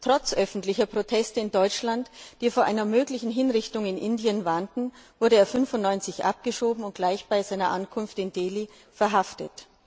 Trotz öffentlicher Proteste in Deutschland, die vor einer möglichen Hinrichtung in Indien warnten, wurde er 1995 abgeschoben und gleich bei seiner Ankunft in Delhi verhaftet.